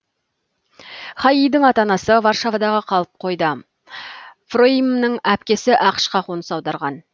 хаидың ата анасы варшавада қалып қойды фроимның әпкесі ақшқа қоныс аударған